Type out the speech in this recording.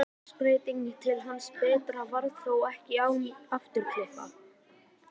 Loftslagsbreytingin til hins betra varð þó ekki án afturkippa.